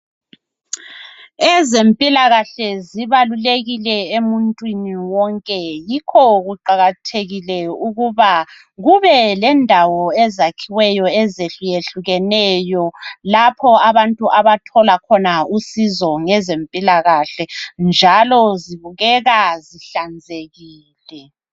Ezempilakahle zibalulekile emuntwini wonke. Yikho kuqakathekile ukuthi, kube lendawo ezakhiweyo, ezahlukehlukeneyo. Lapha abantu abathola khona usizo, ngezempilakahle, njslo zibukeka, zihlanzekile.